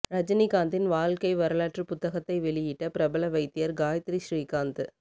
ரஜினிகாந்தின் வாழ்க்கை வரலாற்று புத்தகத்தை வெளியிட்ட பிரபல வைத்தியர் காயத்ரி ஸ்ரீகாந்த்